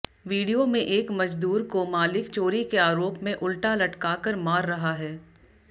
video में एक मजदूर को मालिक चोरी के आरोप में उल्टा लटकाकर मार रहा है